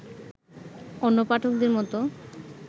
অন্য পাঠকদেরই মতো